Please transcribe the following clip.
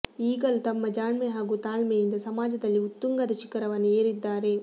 ಈಗಲೂ ತಮ್ಮ ಜಾಣ್ಮೆ ಹಾಗೂ ತಾಳ್ಮೆಯಿಂದ ಸಮಾಜದಲ್ಲಿ ಉತ್ತುಂಗದ ಶಿಖರವನ್ನು ಏರಿದ್ದಾರೆ